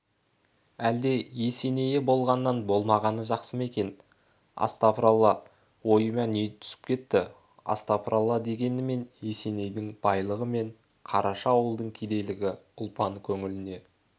әлде есенейі болғаннан болмағаны жақсы ма екен астапыралла ойыма не түсіп кетті астапыралла дегенімен есенейдің байлығы мен қараша ауылдың кедейлігі ұлпан көңіліне